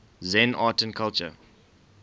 zen art and culture